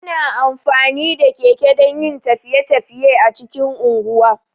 Ana amfani da keke dan yin tafiye- tafiye a cikin unguwa